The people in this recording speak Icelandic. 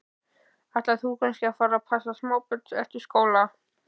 Ætlar þú kannski að fara að passa smábörn eftir skóla?